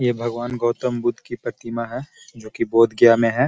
ये भगवान गौतम बुद्ध की प्रतिमा है जो की बौद्ध गया में है।